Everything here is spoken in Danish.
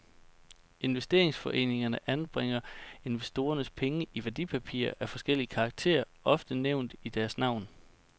Investeringsforeningerne anbringer investorernes penge i værdipapirer af forskellig karakter, ofte nævnt i deres navn.